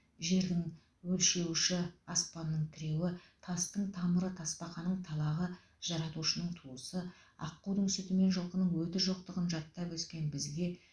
жердің өлшеуіші аспанның тіреуі тастың тамыры тасбақаның талағы жаратушының туысы аққудың сүті мен жылқының өті жоқтығын жаттап өскен бізге